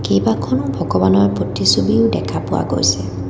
কেইবাখনো ভগবানৰ প্ৰতিছবিও দেখা পোৱা গৈছে।